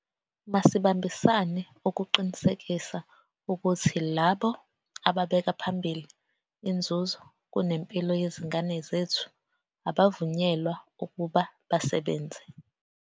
Masibambisane ukuqinisekisa ukuthi labo ababeka phambili inzuzo kunempilo yezingane zethu abavunyelwa ukuba basebenze.